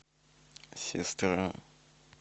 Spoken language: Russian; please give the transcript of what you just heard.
сестра